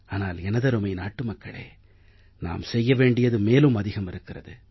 ஆனால் எனதருமை நாட்டு மக்களே நாம் செய்ய வேண்டியது மேலும் அதிகம் இருக்கிறது